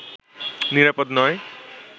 নিরাপদ নয়